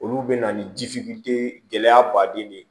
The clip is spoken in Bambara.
Olu bɛ na ni ji gɛlɛya baden de ye